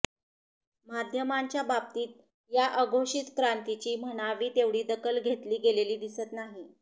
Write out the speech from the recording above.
माध्यमांच्या बाबतीत या अघोषित क्रांतीची म्हणावी तेवढी दखल घेतली गेलेली दिसत नाही